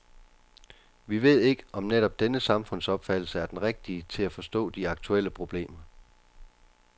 Vi ved ikke, om netop denne samfundsopfattelse er den rigtige til at forstå de aktuelle problemer.